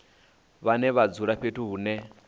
vhane vha dzula fhethu hune